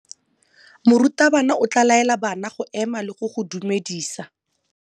Morutabana o tla laela bana go ema le go go dumedisa.